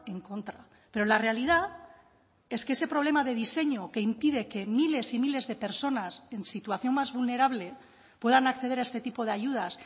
en contra pero la realidad es que ese problema de diseño que impide que miles y miles de personas en situación más vulnerable puedan acceder a este tipo de ayudas